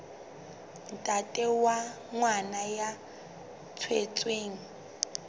ntate wa ngwana ya tswetsweng